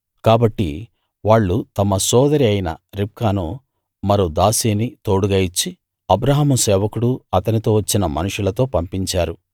కాబట్టి వాళ్ళు తమ సోదరి అయిన రిబ్కాను మరో దాసీని తోడుగా ఇచ్చి అబ్రాహాము సేవకుడూ అతనితో వచ్చిన మనుషులతో పంపించారు